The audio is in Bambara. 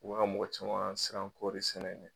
U bɛ ka mɔgɔ caman lasiran koɔri sɛnɛ ɲɛ